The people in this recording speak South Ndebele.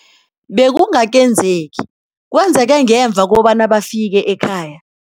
Bekungakenzeki kwenzeke ngemva kobana bafike ekhaya.